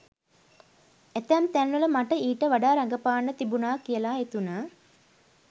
ඇතැම් තැන්වල මට ඊට වඩා රඟපාන්න තිබුණා කියලා හිතුණා.